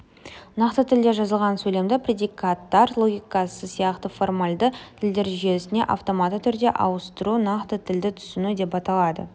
нақты тілде жазылған сөйлемді предикаттар логикасы сияқты формальды тілдер жүйесіне автоматты түрде ауыстыру нақты тілді түсіну деп аталады